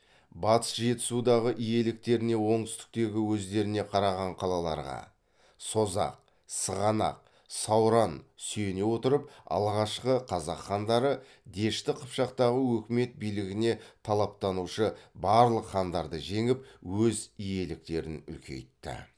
батыс жетісудағы иеліктеріне оңтүстіктегі өздеріне қараған қалаларға сүйене отырып алғашқы қазақ хандары дешті қыпшақтағы өкімет билігіне талаптанушы барлық хандарды жеңіп өз иеліктерін үлкейтті